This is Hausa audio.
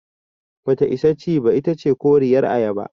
Bata isa ci ba, itace koriyar ayaba.